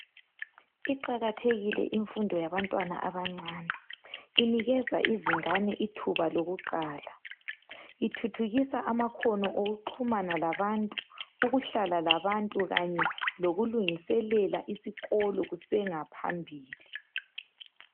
Iqakathekile imfundo yabantwana abancane inikeza izingani ithuba lokuqala ithuthukisa amakhono okuxhumana labantu, ukuhlala labantu kanye lokulungiselela isikolo kusengaphambili.